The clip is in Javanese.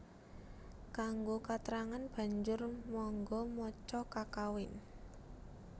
Kanggo katrangan banjur mangga maca kakawin